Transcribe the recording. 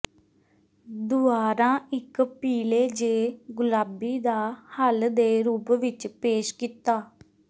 ਦੁਵਾਰਾ ਇੱਕ ਪੀਲੇ ਜ ਗੁਲਾਬੀ ਦਾ ਹੱਲ ਦੇ ਰੂਪ ਵਿੱਚ ਪੇਸ਼ ਕੀਤਾ